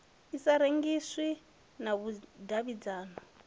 i sa rengiswi na vhudavhidzano